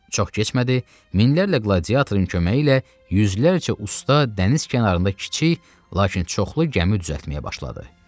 Çox keçmədi, minlərlə qladiatorun köməyi ilə yüzlərcə usta dəniz kənarında kiçik, lakin çoxlu gəmi düzəltməyə başladı.